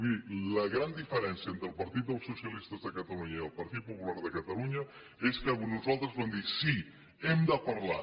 miri la gran diferència entre el partit dels socialistes de catalunya i el partit popular de catalunya és que nosaltres vam dir sí hem de parlar